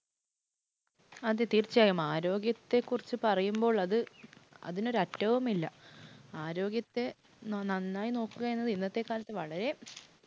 അതെ, തീർച്ചയായും. ആരോഗ്യത്തെക്കുറിച്ച് പറയുമ്പോൾ അത് അതിനൊരറ്റവും ഇല്ല. ആരോഗ്യത്തെ നന്നായി നോക്കുക എന്നത് ഇന്നത്തെ കാലത്ത് വളരെ